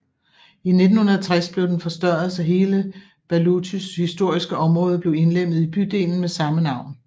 I 1960 blev den forstørret så hele Bałutys historiske område blev indlemmet i bydelen med samme navn